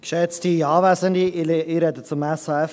Ich spreche zum SAFG.